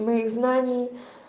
моих знаний